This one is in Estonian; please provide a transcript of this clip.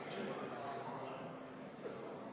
Riigikaitsekomisjon arutas eelnõu enne teisele lugemisele esitamist.